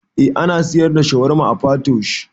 Eh ana siyar da shawarma a Patoosh